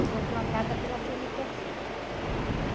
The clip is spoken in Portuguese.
E comprou a casa pela cê-eme-tê-cê, né?